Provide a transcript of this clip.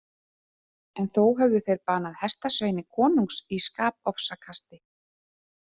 En þó höfðu þeir banað hestasveini konungs í skapofsakasti.